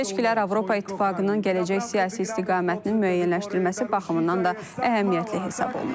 Bu seçkilər Avropa İttifaqının gələcək siyasi istiqamətinin müəyyənləşdirilməsi baxımından da əhəmiyyətli hesab olunur.